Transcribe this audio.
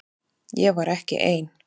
Ég var ekki ein.